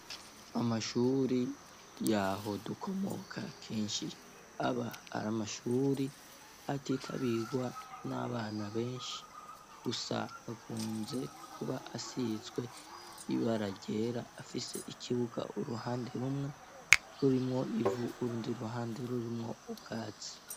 Amashuri yaho dukomoka kenshi aba arI amashuri atitabigwa n'abana benshi. Gusa akunze kuba asizwe ibaragera afise ikibuga uruhande rumwe rurimwo ivu urundi ruhande rurimwo ubwatsi.